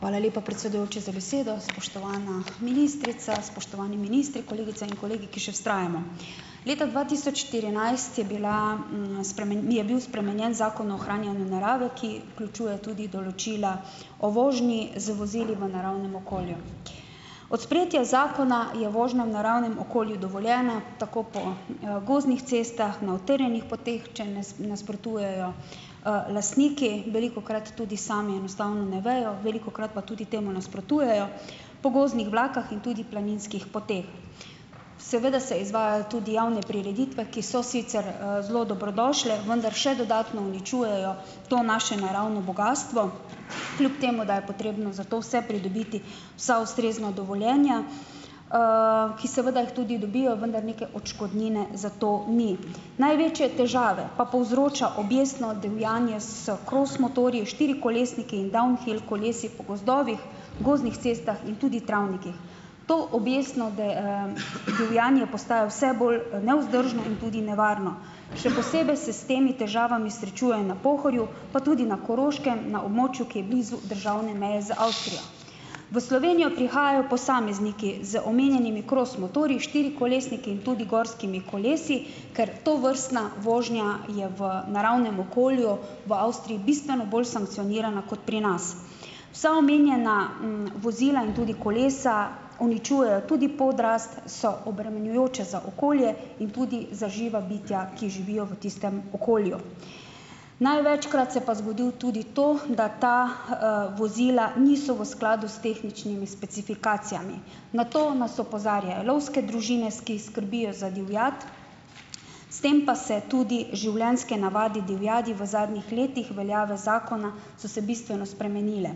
Hvala lepa, predsedujoči, za besedo! Spoštovana ministrica, spoštovani ministri, kolegice in kolegi, ki še vztrajamo! Leta dva tisoč štirinajst je bila je bil spremenjen Zakon o ohranjanju narave, ki vključuje tudi določila o vožnji z vozili v naravnem okolju. Od sprejetja zakona je vožnja v naravnem okolju dovoljena, tako po, gozdnih cestah, na utrjenih poteh, če nasprotujejo, lastniki, velikokrat tudi sami enostavno ne vejo, velikokrat pa tudi temu nasprotujejo po gozdnih vlakah in tudi planinskih poteh. Seveda se izvajajo tudi javne prireditve, ki so sicer, zelo dobrodošle, vendar še dodatno uničujejo to naše naravno bogastvo, kljub temu da je potrebno za to vse pridobiti vsa ustrezna dovoljenja, ki seveda jih tudi dobijo, vendar neke odškodnine za to ni. Največje težave pa povzroča objestno divjanje s kros motorji, štiri kolesniki in downhill kolesi po gozdovih, gozdnih cestah in tudi travnikih. To objestno divjanje postaja vse bolj nevzdržno in tudi nevarno. Še posebej se s temi težavami srečuje na Pohorju, pa tudi na Koroškem, na območju, ki je blizu državne meje z Avstrijo. V Slovenijo prihajajo posamezniki z omenjenimi kros motorji, štirikolesniki in tudi gorskimi kolesi, ker tovrstna vožnja je v naravnem okolju v Avstriji bistveno bolj sankcionirana kot pri nas. Vsa omenjena, vozila in tudi kolesa uničujejo tudi podrast, so obremenjujoča za okolje in tudi za živa bitja, ki živijo v tistem okolju. Največkrat se pa zgodi tudi to, da ta, vozila niso v skladu s tehničnimi specifikacijami. Na to nas opozarjajo lovske družine, ki skrbijo za divjad, s tem pa se tudi življenjske navade divjadi v zadnjih letih veljave zakona so se bistveno spremenile.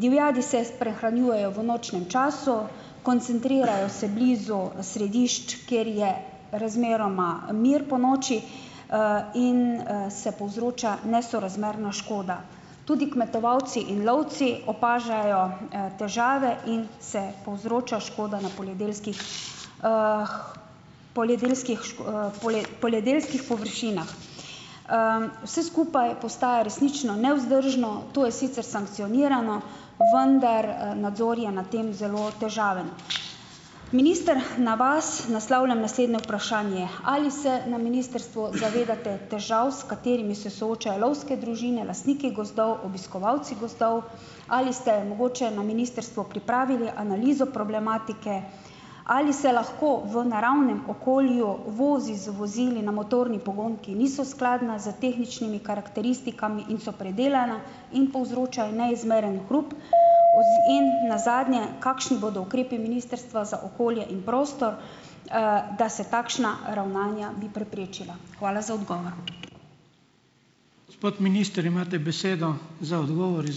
Divjadi se prehranjujejo v nočnem času, koncentrirajo se blizu središč, kjer je razmeroma mir ponoči, in, se povzroča nesorazmerna škoda. Tudi kmetovalci in lovci opažajo težave in se povzroča škoda na poljedelskih poljedelskih poljedelskih površinah. Vse skupaj postaja resnično nevzdržno. To je sicer sankcionirano, vendar nadzor je na tem zelo težaven. Minister, na vas naslavljam naslednje vprašanje. Ali se na ministrstvu zavedate težav, s katerimi se soočajo lovske družine, lastniki gozdov, obiskovalci gozdov? Ali ste mogoče na ministrstvu pripravili analizo problematike? Ali se lahko v naravnem okolju vozi z vozili na motorni pogon, ki niso skladna z tehničnimi karakteristikami in so predelana in povzročajo neizmeren hrup. In nazadnje, kakšni bodo ukrepi Ministrstva za okolje in prostor, da se takšna ravnanja bi preprečila? Hvala za odgovor.